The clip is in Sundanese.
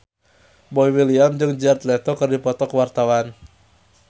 Boy William jeung Jared Leto keur dipoto ku wartawan